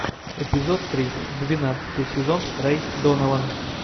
эпизод три двенадцатый сезон рэй донован